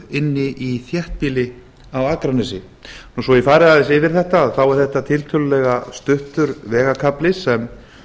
inn í þéttbýli á akranesi svo að ég fari aðeins yfir þetta þá er þetta tiltölulega stuttur vegarkafli sem